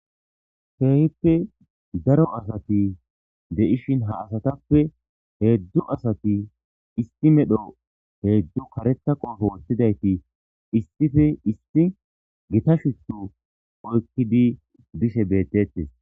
Kehippe daro asati de7ishin ha asatappe heedzdzu asati issi medho heedzdzu karetha qoppe wothtidayti issippe issi giita shuchchu oykkidi bishe bettettes.